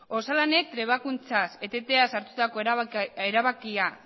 osalanek trebakuntzaz eteteaz sartutako erabakia